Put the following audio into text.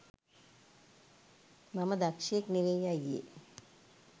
මම දක්ෂයෙක් නෙවෙයි අයියේ